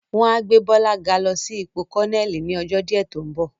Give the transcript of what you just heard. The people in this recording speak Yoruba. Wọ́n á gbé Bọ́lá ga lọ sí ipò Kọ́nẹ́ẹ̀lì ni ọjọ́ díẹ̀ tó ń bọ̀